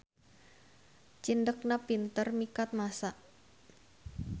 Cindekna pinter mikat massa.